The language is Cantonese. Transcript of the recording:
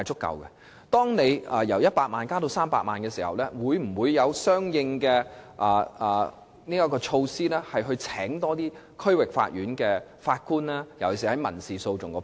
因此，在限額由100萬元提高至300萬元後，政府當局會否採取相應措施，聘請更多區域法院法官，尤其是審理民事訴訟的法官？